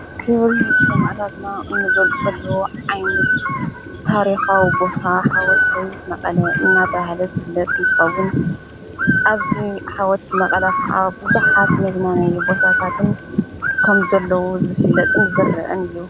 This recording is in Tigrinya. ክብሪ ሳማእታትና እንግጸሉ ዓይነት ታሪኻዊ ቦታ ሓወልቲ መቐለ እናተብሃል ዘፍለጥ እንተኸዉን ኣብዙ ሓወልቲ መቐላ ክዓ ብዙሓት መዝናንይ ቦታታት ከም ዘለዉ ዘፍለጥን ዝዘርአን እዩ።